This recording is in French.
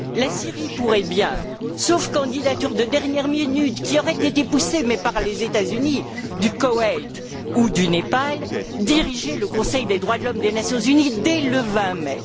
La Syrie pourrait bien sauf candidature de dernière minute, qui aurait été poussée par les États Unis, du Koweït ou du Népal diriger le Conseil des droits de l'homme des Nations unies dès le 20 mai.